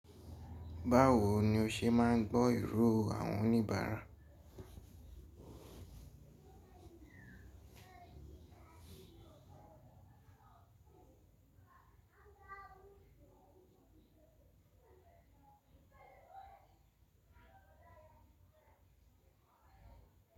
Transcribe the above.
Bawo ni o se maa n gbọ iro awon onibaara.